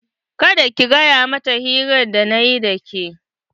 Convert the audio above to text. Kada ka gaya mata hirar da nayi da ke!